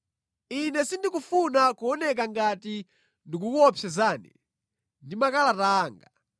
Ine sindikufuna kuoneka ngati ndikukuopsezani ndi makalata anga.